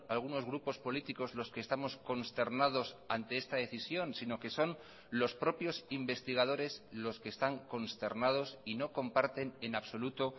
algunos grupos políticos los que estamos consternados ante esta decisión si no que son los propios investigadores los que están consternados y no comparten en absoluto